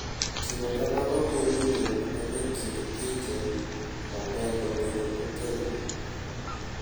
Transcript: Timo kamano miyo winjruok manie kind pinje omedo bedo motegno.